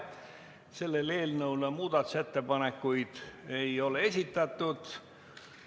Selle eelnõu kohta muudatusettepanekuid esitatud ei ole.